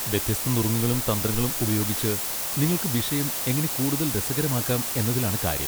വ്യത്യസ്ത നുറുങ്ങുകളും തന്ത്രങ്ങളും ഉപയോഗിച്ച് നിങ്ങൾക്ക് വിഷയം എങ്ങനെ കൂടുതൽ രസകരമാക്കാം എന്നതിലാണ് കാര്യം.